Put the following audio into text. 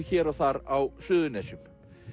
hér og þar á Suðurnesjum